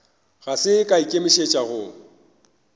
ga se a ikemišetša go